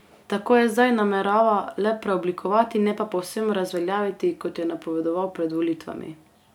Tako jo zdaj namerava le preoblikovati, ne pa povsem razveljaviti, kot je napovedoval pred volitvami.